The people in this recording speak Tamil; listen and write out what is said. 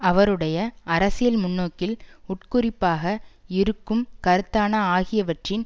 அவருடைய அரசியல் முன்னோக்கில் உட்குறிப்பாக இருக்கும் கருத்தான ஆகியவற்றின்